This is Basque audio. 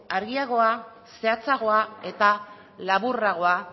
argiagoa zehatzagoa eta laburragoa